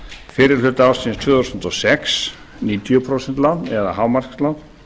fyrri hluta ársins tvö þúsund og sex níutíu prósent lán eða hámarkslán